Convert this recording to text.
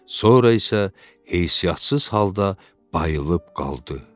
Sonra isə heysiyyatsız halda bayılıb qaldı.